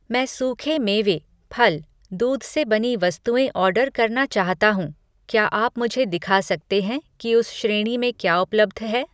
मैं सूखे मेवे, फल, दूध से बनी वस्तुएँ ऑर्डर करना चाहता हूँ, क्या आप मुझे दिखा सकते हैं कि उस श्रेणी में क्या उपलब्ध है?